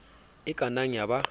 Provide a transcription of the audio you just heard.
e ka nnang ya ba